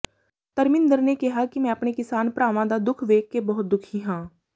ਧਰਮਿੰਦਰ ਨੇ ਕਿਹਾ ਕਿ ਮੈਂ ਆਪਣੇ ਕਿਸਾਨ ਭਰਾਵਾਂ ਦਾ ਦੁੱਖ ਵੇਖ ਕੇ ਬਹੁਤ ਦੁਖੀ ਹਾਂ